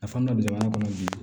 A fan dɔ jamana kɔnɔ bi